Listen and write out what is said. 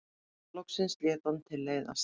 Loksins lét hann tilleiðast.